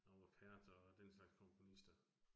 Arvo Pärt og den slags komponister